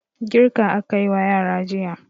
Girka aka yi wa yara jiya.